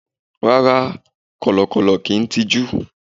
Rárá, Kọ̀lọ̀kọ̀lọ̀ ki i tiju